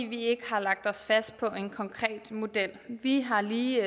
vi ikke har lagt os fast på en konkret model vi har lige